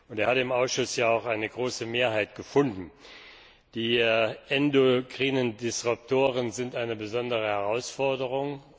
er hat im Ausschuss ja auch eine große Mehrheit gefunden. Die endokrinen Disruptoren sind eine besondere Herausforderung.